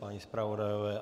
Páni zpravodajové?